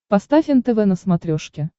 поставь нтв на смотрешке